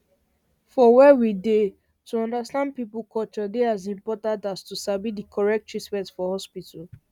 for where we dey to understand person culture dey as important as to sabi the correct treatment for hospital